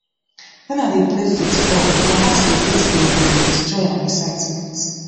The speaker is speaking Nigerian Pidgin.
wen i dey play football football my heart dey beat gbim gbim with joy and excitement